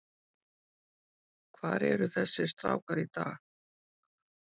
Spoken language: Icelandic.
Hvar eru þessir strákar í dag?